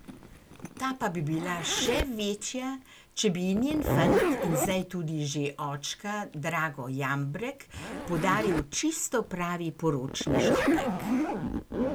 Ta pa bi bila še večja, če bi ji njen fant in zdaj tudi že očka Drago Jambrek podaril čisto pravi poročni šopek.